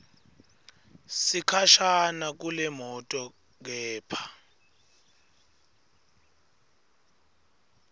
sikhashana kulemoto kepha